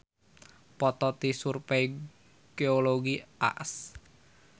Foto ti Survey Geologi AS.